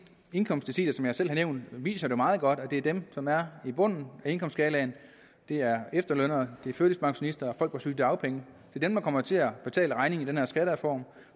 indkomstdeciler som jeg selv har nævnt viser meget godt at det er dem som er i bunden af indkomstskalaen det er efterlønnere det er førtidspensionister og folk på sygedagpenge der kommer til at betale regningen for den her skattereform